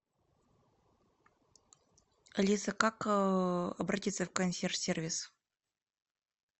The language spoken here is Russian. алиса как обратиться в консьерж сервис